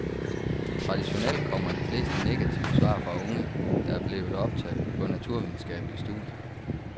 Traditionelt kommmer de fleste negative svar fra unge, der er blevet optaget på naturvidenskabelige studier.